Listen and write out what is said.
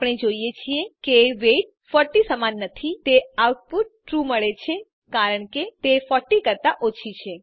આપણે જોઈએ છીએ કે વેઇટ 40 સમાન નથી તેથી આઉટપુટ ટ્રૂ મળે છે કારણ કે તે 40 કરતાં ઓછી છે